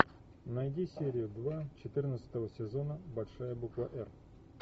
найди серию два четырнадцатого сезона большая буква р